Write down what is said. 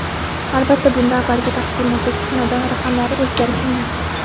Albatta, bunda avvalgi taqsimotdagi xonadon raqamlari o‘zgarishi mumkin.